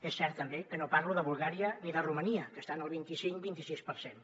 és cert també que no parlo de bulgària ni de romania que estan al vint icinc vint i sis per cent